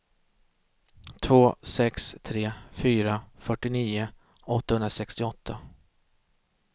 två sex tre fyra fyrtionio åttahundrasextioåtta